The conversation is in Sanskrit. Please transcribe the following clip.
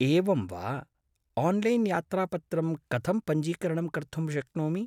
एवं वा! आन्लैन्यात्रापत्रं कथं पञ्जीकरणं कर्तुं शक्नोमि?